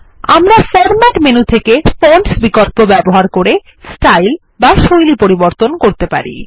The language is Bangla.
আমরা ফরম্যাট মেনু থেকে ফন্টস বিকল্প ব্যবহার করে স্টাইল বা শৈলী পরিবর্তন করতে পারি